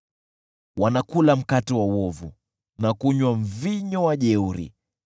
Wanakula mkate wa uovu, na kunywa mvinyo wa jeuri.